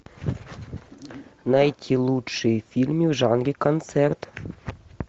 найти лучшие фильмы в жанре концерт